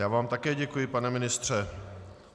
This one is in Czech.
Já vám také děkuji, pane ministře.